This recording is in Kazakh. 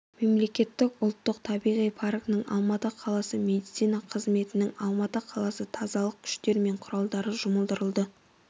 мемлекеттік ұлттық табиғи паркінің алматы қаласы медицина қызметінің алматы қаласы тазалық күштер мен құралдары жұмылдырылды